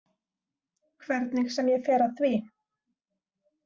Hvernig sem ég fer að því.